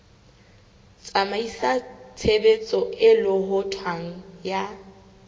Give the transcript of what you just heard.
tsamaisa tshebetso e lohothwang ya